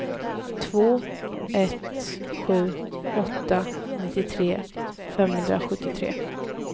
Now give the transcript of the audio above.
två ett sju åtta nittiotre femhundrasjuttiotre